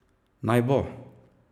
Naj bo!